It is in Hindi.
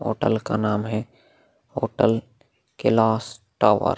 होटल का नाम है होटल कैलाश टावर ।